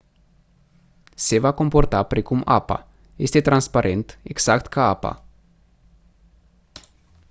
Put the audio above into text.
se va comporta precum apa este transparent exact ca apa